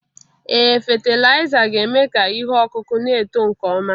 Ee fatịlaịza ga-eme ka ihe ọkụkụ na-eto nke ọma